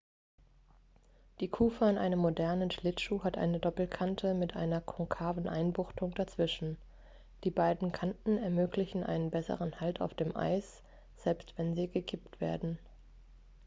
die kufe an einem modernen schlittschuh hat eine doppelkante mit einer konkaven einbuchtung dazwischen die beiden kanten ermöglichen einen besseren halt auf dem eis selbst wenn sie gekippt werden